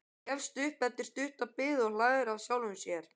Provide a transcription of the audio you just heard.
Gefst upp eftir stutta bið og hlær að sjálfum sér.